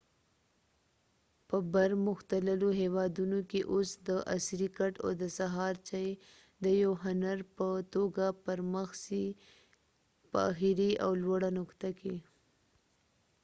په بر مختللو هیوادونو کې اوس د عصری کټ او د سهار چای د یو هنر په توګه پر مخ څی په آخری او لوړه نقطه کې